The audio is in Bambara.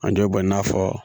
An dɔ b'o kɛ i n'a fɔ